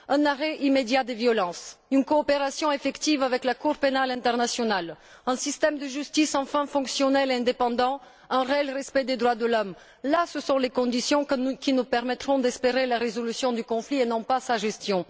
Un arrêt immédiat des violences, une coopération effective avec la Cour pénale internationale, un système de justice enfin fonctionnel et indépendant, un respect réel des droits de l'homme ce sont là les conditions qui nous permettront d'espérer la résolution du conflit et non sa gestion.